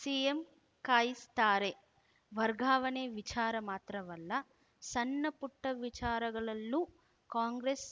CM ಕಾಯಿಸ್ತಾರೆ ವರ್ಗಾವಣೆ ವಿಚಾರ ಮಾತ್ರವಲ್ಲ ಸಣ್ಣ ಪುಟ್ಟವಿಚಾರಗಳಲ್ಲೂ ಕಾಂಗ್ರೆಸ್‌